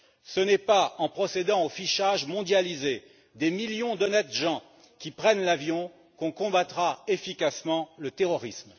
Ce n'est pas en procédant au fichage mondialisé des millions d'honnêtes gens qui prennent l'avion que l'on combattra efficacement le terrorisme.